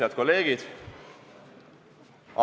Head kolleegid!